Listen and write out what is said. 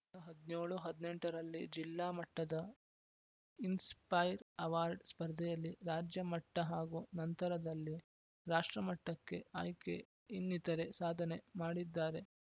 ಹದಿನೇಳು ಹದಿನೆಂಟು ರಲ್ಲಿ ಜಿಲ್ಲಾ ಮಟ್ಟದ ಇನ್ಸ್‌ ಪೈರ್‌ ಅವಾರ್ಡ್‌ ಸ್ಪರ್ದೆಯಲ್ಲಿ ರಾಜ್ಯ ಮಟ್ಟಹಾಗೂ ನಂತರದಲ್ಲಿ ರಾಷ್ಟ್ರ ಮಟ್ಟಕ್ಕೆ ಆಯ್ಕೆ ಇನ್ನಿತರೆ ಸಾಧನೆ ಮಾಡಿದ್ದಾರೆ